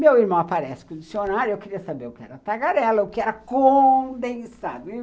Meu irmão aparece com o dicionário e eu queria saber o que era tagarela, o que era condensado.